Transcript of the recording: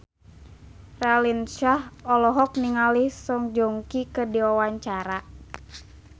Raline Shah olohok ningali Song Joong Ki keur diwawancara